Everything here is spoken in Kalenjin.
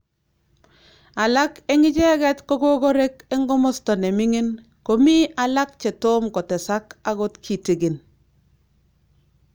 Alak en icheget kogokorek en komosto ne ming'in komii alak che tom kotesak agot kitigin